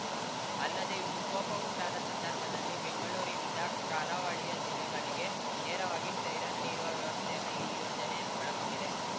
ಅಲ್ಲದೆ ವಿಕೋಪ ಉಂಟಾದ ಸಂದರ್ಭದಲ್ಲಿ ಬೆಂಗಳೂರಿನಿಂದ ಕರಾವಳಿಯ ಜಿಲ್ಲೆಗಳಿಗೆ ನೇರವಾಗಿ ಸೈರನ್‌ ನೀಡುವ ವ್ಯವಸ್ಥೆಯನ್ನು ಈ ಯೋಜನೆ ಒಳಗೊಂಡಿದೆ